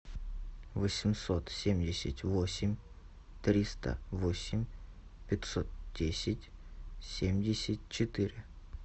восемьсот семьдесят восемь триста восемь пятьсот десять семьдесят четыре